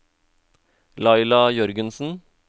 Laila Jørgensen